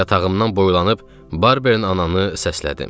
Yatağımdan boylanıb Barberin ananı səslədim.